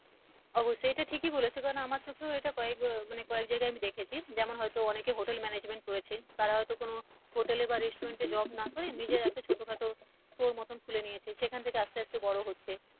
অবশ্যই এটা ঠিকই বলেছো কারণ আমার চোখেও এটা কয়েক বার মানে কয়েক জায়গায় আমি দেখেছি যেমন হয়তো অনেকে hotel management করেছে তারা হয়তো কোন hotel এ বা restaurants এ job না করে নিজের একটা ছোটখাটো টোল মতো খুলে নিয়েছে সেখান থেকে আস্তে আস্তে বড়ো হচ্ছে।